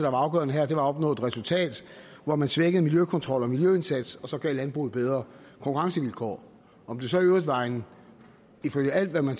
afgørende her at opnå et resultat hvor man svækkede miljøkontrollen og miljøindsatsen og så gav landbruget bedre konkurrencevilkår om det så i øvrigt var en ifølge alt hvad man